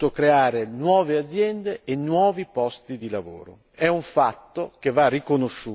Il mondo della cooperazione ha saputo creare nuove aziende e nuovi posti di lavoro.